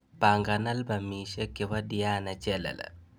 Pangan albamisiek chebo diana chelele